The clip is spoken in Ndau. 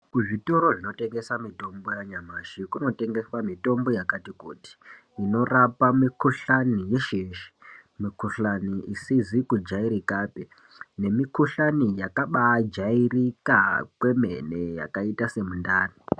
Kuzvitoro zvinotengese mitombo yanyamashi kunotengeswe mitombo yakatikuti inorapa mikuhlani yesheyeshe mikuhlani isizi kujairikapi nemukuhlani yakabajairika kwemene yakaita semundani.